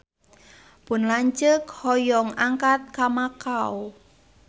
Pun lanceuk hoyong angkat ka Makau